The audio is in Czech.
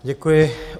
Děkuji.